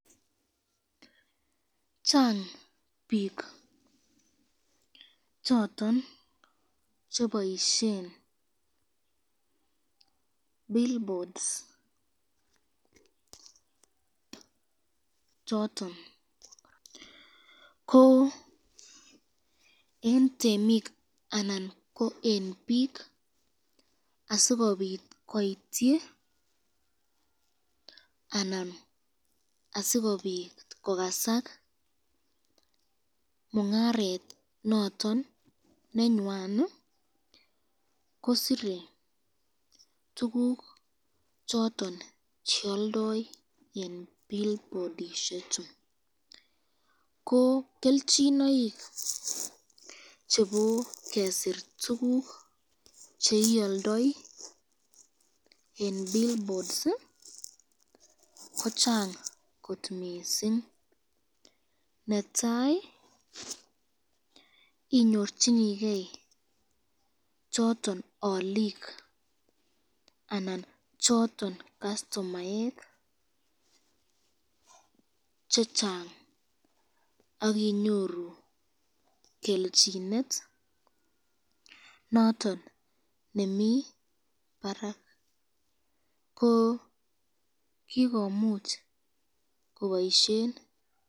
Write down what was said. Chang bik choton cheboisyen billboards choton ,ko eng temik snan ko eng bik asikobit koityi snan asikobit kokasak mungaret noton nenywan kosire tukuk choton chealdae eng billboardishek chu ,ko kelchinoik chebo kesir tukuk cheialdai eng billboard ,ko chang kot mising, netai inyorchinike choton alik anan choton kastomark chechang akinyoru kelchinet noton nemi Barak ,ko kikomuch kobaisyen.